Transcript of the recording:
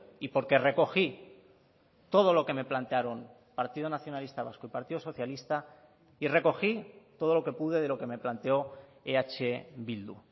y porque recogí todo lo que me plantearon partido nacionalista vasco y partido socialista y recogí todo lo que pude de lo que me planteó eh bildu